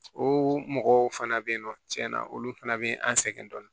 O mɔgɔw fana bɛ yen nɔ tiɲɛ na olu fana bɛ an sɛgɛn dɔɔnin